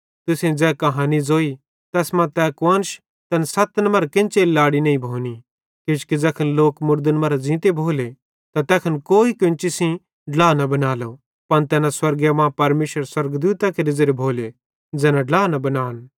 तुसेईं ज़ै कहानी ज़ोई तैस मां तै कुआन्श तैन सत्तन मरां केन्चेरी लाड़ी नईं भोनी किजोकि ज़ैखन लोक मुड़दन मरां ज़ींते भोले त तैखन कोई केन्ची सेइं ड्ला न बनालो पन तैना स्वर्गे मां परमेशरेरे स्वर्गदूतां केरे ज़ेरे भोले ज़ैना ड्ला न बनान